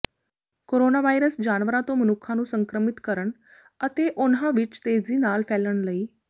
corona virus ਜਾਨਵਰਾਂ ਤੋਂ ਮਨੁੱਖਾਂ ਨੂੰ ਸੰਕਰਮਿਤ ਕਰਨ ਅਤੇ ਉਨ੍ਹਾਂ ਵਿੱਚ ਤੇਜ਼ੀ ਨਾਲ ਫੈਲਣ ਲਈ